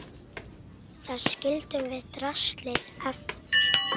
Þar skildum við draslið eftir.